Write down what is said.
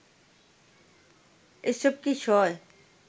এসব কি সয়